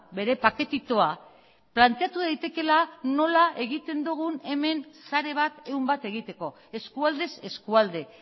bere paketitoa planteatu daitekeela nola egiten dugun hemen sare bat ehun bat egiteko eskualdez eskualde